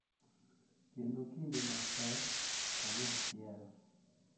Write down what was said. Kendo kinde mapek kanyachiel,